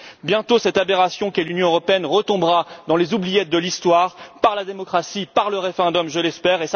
échec. Bientôt, cette aberration qu'est l'Union européenne retombera dans les oubliettes de l'histoire par la démocratie, par le référendum je l'espère